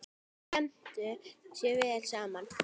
Þeir skemmtu sér vel saman.